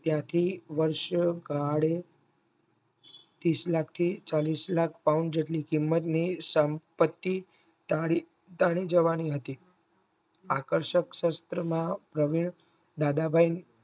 ત્યાંથી વર્ષ કાળ તીસ લાખથી ચાલીશ લાખ paune જેટલી કિંમતની સંપત્તિ તારી જવાની હતી. આકર્ષક શાસ્ત્ર માં દાદાભાઈ